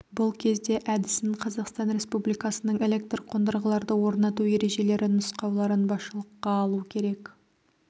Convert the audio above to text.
бұл кезде әдісін қазақстан республикасының электр қондырғыларды орнату ережелері нұсқауларын басшылыққа алу керек